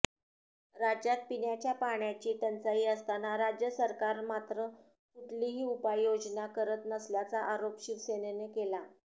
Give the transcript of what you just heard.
राज्यात पिण्याच्या पाण्याची टंचाई असताना राज्य सरकार मात्र कुठलीही उपाययोजना करत नसल्याचा आरोप शिवसेनेनं केला